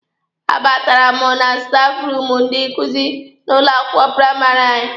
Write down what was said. A batara m na stafụ ruumụ ndị nkuzi n'ụlọ akwụkwọ praịmarị anyị.